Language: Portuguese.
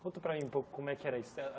Conta para mim um pouco como é que era isso.